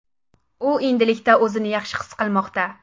U endilikda o‘zini yaxshi his qilmoqda.